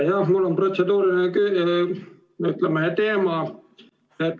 Jah, mul on, ütleme, protseduuriline teema.